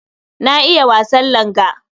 Na iya wasan langa.